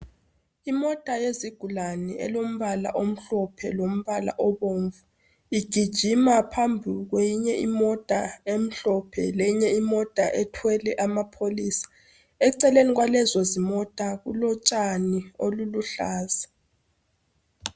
Imota yezigulane elombala omhlophe lombala obomvu igijima phambili kweyinye imota emhlophe lenye imota ethwele amapholisa eceleni kwalezo zimota kulotshani oluluhlaza.